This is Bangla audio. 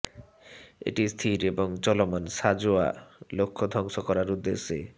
এটি স্থির এবং চলমান সাঁজোয়া লক্ষ্য ধ্বংস করার উদ্দেশ্যে